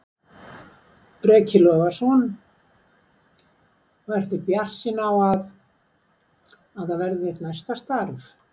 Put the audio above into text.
Breki Logason: Og ertu bjartsýn á að, að það verði þitt næsta starf?